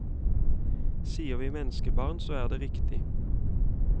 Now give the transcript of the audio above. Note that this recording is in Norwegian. Sier vi menneskebarn, så er det riktig.